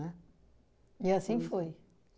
E assim foi.